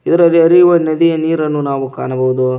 ಇದರಲ್ಲಿ ಹರಿಯುವ ನದಿಯ ನೀರನ್ನು ಕಾಣಬಹುದು.